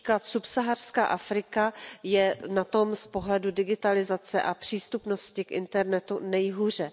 Například subsaharská Afrika je na tom z pohledu digitalizace a přístupnosti k internetu nejhůře.